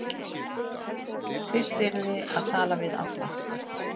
Fyrst yrði að tala við alla